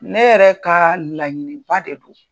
Ne yɛrɛ kaa laɲiniba de do .